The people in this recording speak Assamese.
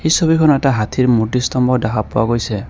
এই ছবিখনত এটা হাতীৰ মূৰ্ত্তি স্তম্ভ দেখা পোৱা গৈছে।